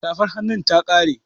Safar hannun ta ƙare